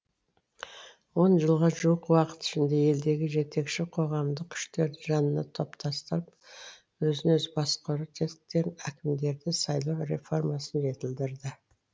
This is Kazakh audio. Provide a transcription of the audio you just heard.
он жылға жуық уақыт ішінде елдегі жетекші қоғамдық күштерді жанына топтастырып өзін өзі басқару тетіктерін әкімдерді сайлау реформасын жетілдірді